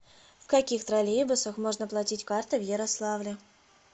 в каких троллейбусах можно платить картой в ярославле